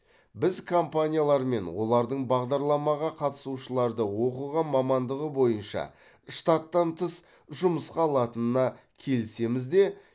біз компаниялармен олардың бағдарламаға қатысушыларды оқыған мамандығы бойынша штаттан тыс жұмысқа алатынына келісеміз де